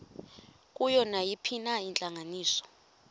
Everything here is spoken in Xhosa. kuyo nayiphina intlanganiso